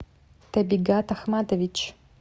табигат ахматович